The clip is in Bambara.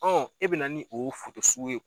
e bɛ na ni o sugu ye